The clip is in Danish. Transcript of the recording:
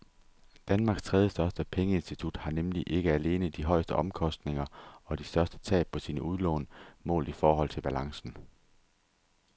Danmarks tredjestørste pengeinstitut har nemlig ikke alene de højeste omkostninger og de største tab på sine udlån målt i forhold til balancen.